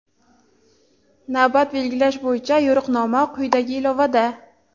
Navbat belgilash bo‘yicha yo‘riqnoma quyidagi ilovada.